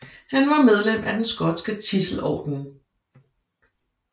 Han var medlem af den skotske Tidselordenen